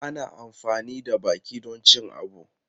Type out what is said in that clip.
Ana amfani da baki don cin abu.